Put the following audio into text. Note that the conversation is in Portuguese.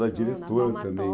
Ou da diretora também.